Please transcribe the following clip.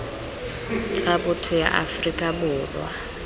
tsa botho ya aforika borwa